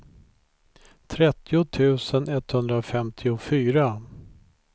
trettio tusen etthundrafemtiofyra